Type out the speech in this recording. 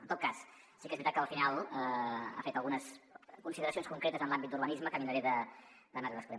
en tot cas si que és veritat que al final ha fet algunes consideracions concretes en l’àmbit d’urbanisme que miraré d’anar li responent